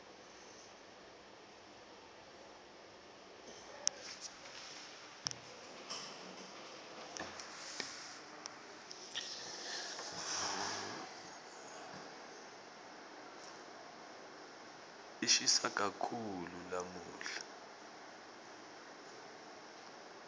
lishisa kakhulu lamuhla